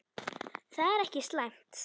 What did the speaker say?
Það er ekki slæmt.